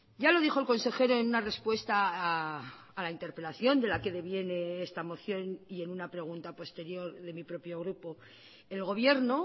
ya lo dijo el consejero en una respuesta a la interpelación de la que deviene esta moción y en una pregunta posterior de mi propio grupo el gobierno